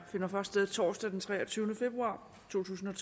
finder først sted torsdag den treogtyvende februar totusinde